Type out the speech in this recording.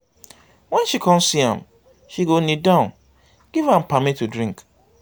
wen she con see am she go knee down giv am pammy to drink